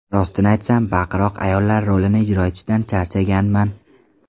Rostini aytsam, baqiroq ayollar rolini ijro etishdan charchaganman.